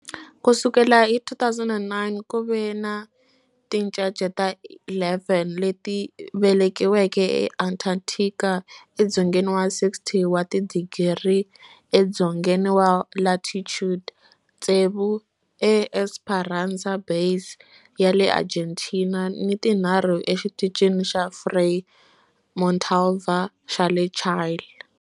Ku sukela hi 2009, ku ve ni tincece ta 11 leti velekiweke eAntarctica, edzongeni wa 60 wa tidigri edzongeni wa latitude, tsevu eEsperanza Base ya le Argentina ni tinharhu eXitichini xa Frei Montalva xa le Chile.